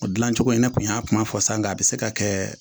O dilancogo in ne kun y'a kuma fɔ sa n k'a bɛ se ka kɛ